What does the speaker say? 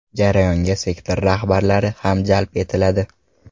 Jarayonga sektor rahbarlari ham jalb etiladi.